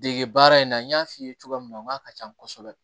Dege baara in na n y'a f'i ye cogoya min na n k'a ka can kosɛbɛ